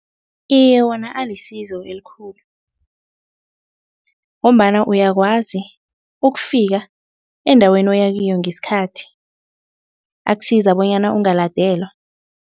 Iye wona alisizo elikhulu, ngombana uyakwazi ukufika endaweni oyakiyo ngesikhathi. Akusiza bonyana ungaladelwa.